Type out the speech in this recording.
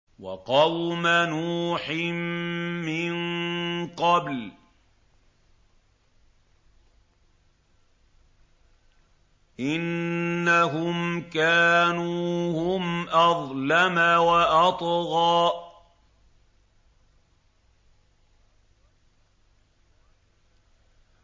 وَقَوْمَ نُوحٍ مِّن قَبْلُ ۖ إِنَّهُمْ كَانُوا هُمْ أَظْلَمَ وَأَطْغَىٰ